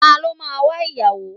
Ta ló máa wa ìyàwó?